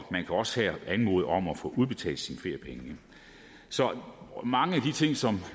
også her anmode om at få udbetalt sine feriepenge så mange af de ting som